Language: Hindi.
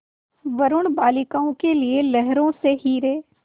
वरूण बालिकाओं के लिए लहरों से हीरे